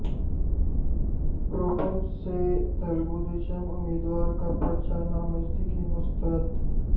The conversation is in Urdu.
کروپم سے تلگودیشم امیدوار کا پرچہ نامزدگی مسترد